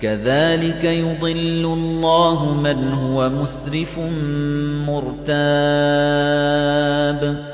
كَذَٰلِكَ يُضِلُّ اللَّهُ مَنْ هُوَ مُسْرِفٌ مُّرْتَابٌ